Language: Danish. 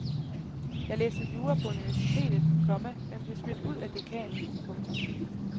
Jeg læste jura på universitet, komma men blev smidt ud af dekanen. punktum